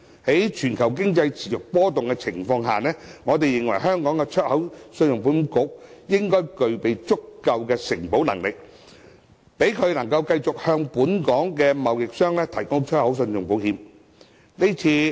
在全球經濟持續波動的情況下，我們認為信保局應具備足夠承保能力，讓其繼續向本港貿易商提供出口信用保險。